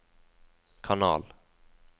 kanal